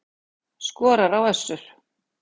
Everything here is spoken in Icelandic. Skorar á Össur